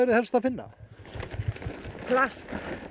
helst að finna plast